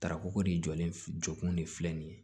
Tarako de jɔlen jɔ kun de filɛ nin ye